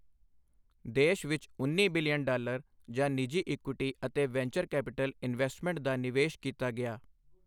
ਦੇਸ਼ ਵਿੱਚ ਉੱਨੀ ਬਿਲੀਅਨ ਡਾਲਰ ਦਾ ਨਿੱਜੀ ਇਕਇਟੀ ਅਤੇ ਵੈਂਚਰ ਕੈਪੀਟਲ ਇਨਵੈਸਟਮੈਂਟ ਦਾ ਨਿਵੇਸ਼ ਕੀਤਾ ਗਿਆ।